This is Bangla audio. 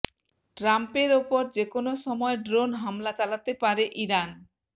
ট্রাম্পের ওপর যেকোনো সময় ড্রোন হামলা চালাতে পারে ইরান